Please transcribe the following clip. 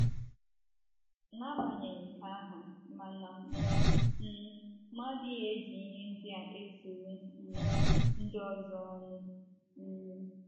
N’agbanyeghị nke ahụ, mana um m adịghị eji ihe ndị a eturu um ndị ọzọ ọnụ. um